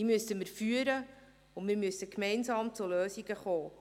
Diese müssen wir führen und gemeinsam zu Lösungen kommen.